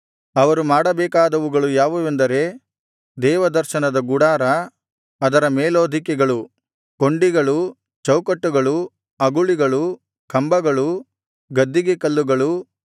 ಅವರು ಮಾಡಬೇಕಾದವುಗಳು ಯಾವುವೆಂದರೆ ದೇವದರ್ಶನದ ಗುಡಾರ ಅದರ ಮೇಲ್ಹೊದಿಕೆಗಳು ಕೊಂಡಿಗಳು ಚೌಕಟ್ಟುಗಳು ಅಗುಳಿಗಳು ಕಂಬಗಳು ಗದ್ದಿಗೆಕಲ್ಲುಗಳು